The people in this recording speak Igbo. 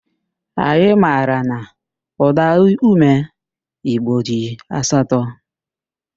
Anyị mara na ụdaume igbo dị asatọ